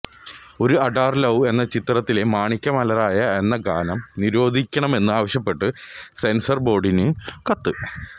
ഒരു അഡാറ് ലവ് എന്ന ചിത്രത്തിലെ മാണിക്യ മലരായ എന്ന ഗാനം നിരോധിക്കണമെന്ന് ആവശ്യപ്പെട്ട് സെൻസർ ബോർഡിന് കത്ത്